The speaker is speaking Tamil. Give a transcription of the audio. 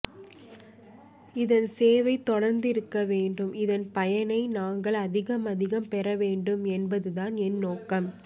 இதன் சேவை தொடர்ந்து இருக்க வேண்டும் இதன் பயனை நாங்கள் அதிகம் அதிகம் பெற வேண்டும் என்பதுதான் என் நோக்கம்